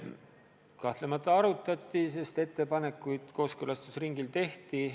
Kahtlemata seda arutati, sest ettepanekuid kooskõlastusringil tehti.